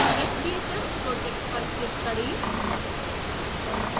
sbhs project पर click करें